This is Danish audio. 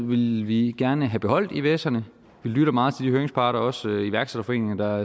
ville vi gerne have beholdt ivserne vi lytter meget til de høringsparter også iværksætterforeninger der